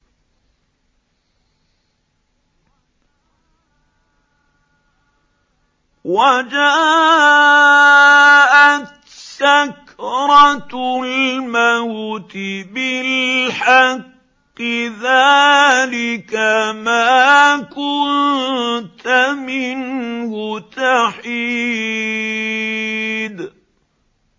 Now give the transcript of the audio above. وَجَاءَتْ سَكْرَةُ الْمَوْتِ بِالْحَقِّ ۖ ذَٰلِكَ مَا كُنتَ مِنْهُ تَحِيدُ